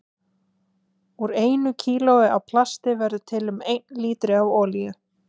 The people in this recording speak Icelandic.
Úr einu kílói af plasti verður til um einn lítri af olíu.